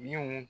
Min